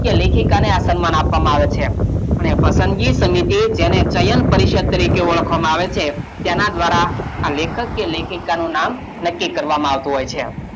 કે લેખિકાને આ સન્માન આપવામાં આવે છે અને પસંદગી સમિતિ તેને શયન પરિષદ તરીકે ઓળખવામાં આવે છે તેનાં દ્વારાં આ લેખક કે લેખિકાનું નામ નક્કી કરવામાં આવતું હોય છે.